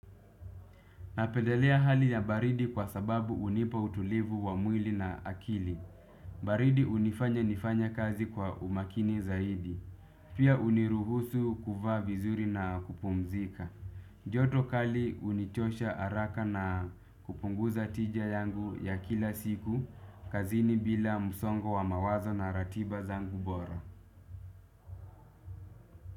Napedelea hali ya baridi kwa sababu hunipa utulivu wa mwili na akili. Baridi unifanya nifanya kazi kwa umakini zaidi. Pia huniruhusu kuvaa vizuri na kupumzika. Joto kali hunichosha haraka na kupunguza tija yangu ya kila siku. Kazini bila msongo wa mawazo na ratiba zangu bora.